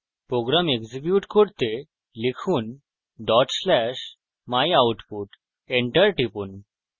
program execute করতে লিখুন dot slash /myoutput enter টিপুন